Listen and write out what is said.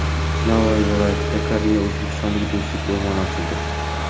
Navoiy viloyatida Koreya-O‘zbekiston Do‘stlik o‘rmoni ochildi.